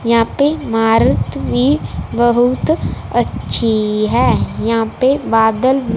यहां पे मारुति भी बहुत अच्छी है यहां पे बादल--